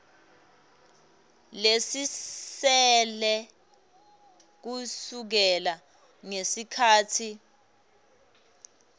lesisele kusukela ngesikhatsi